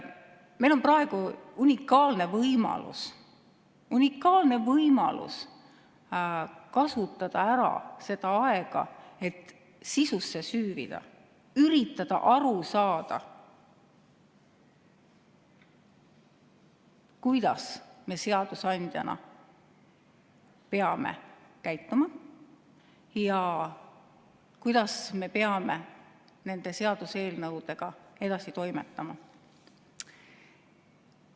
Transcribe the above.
Meil on praegu unikaalne võimalus kasutada ära aega, et sisusse süüvida, üritada aru saada, kuidas me seadusandjana peame käituma ja kuidas me peame nende seaduseelnõudega edasi toimetama.